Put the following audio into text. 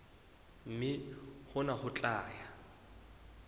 mme hona ho tla ya